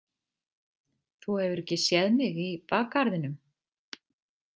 Þú hefur ekki séð mig í bakgarðinum?